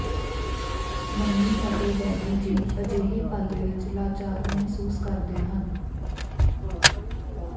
mummy ਅਤੇ daddy ji ਅਜਿਹੇ ਪਲ ਵਿੱਚ ਲਾਚਾਰ ਮਹਿਸੂਸ ਕਰਦੇ ਹਨ